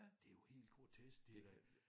Det jo helt grotesk det da